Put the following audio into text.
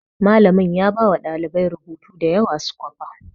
Malamin ya bawa ɗalibai rubutu da yawa su kwafa